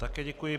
Také děkuji.